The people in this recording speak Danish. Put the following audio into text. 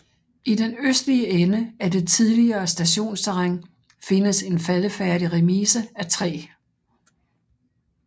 I den østlige ende af det tidligere stationsterræn findes en faldefærdig remise af træ